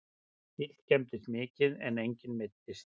Bíll skemmdist mikið en enginn meiddist